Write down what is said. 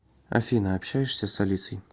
афина общаешься с алисой